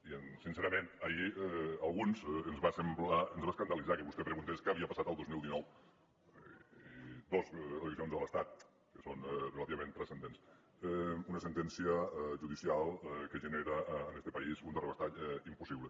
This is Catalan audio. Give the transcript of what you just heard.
i sincerament ahir a alguns ens va escandalitzar que vostè preguntés què havia passat el dos mil dinou dos eleccions a l’estat que són relativament transcendents una sentència judicial que genera en este país un terrabastall impossible